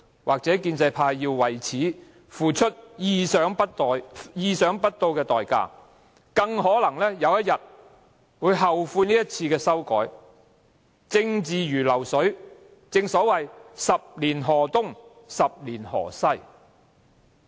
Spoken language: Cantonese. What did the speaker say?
或許建制派要為此付出意想不到的代價，更可能有一天後悔這一次的修改，政治如流水，正所謂十年河東、十年河西。